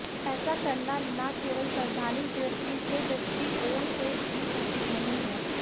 ऐसा करना न केवल संवैधानिक दृष्टि से दृष्टिकोण से भी उचित नहीं है